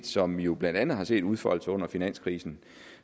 som vi jo blandt andet har set udfolde sig under finanskrisen